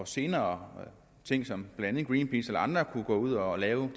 senere ting som blandt andet greenpeace eller andre kunne gå ud og lave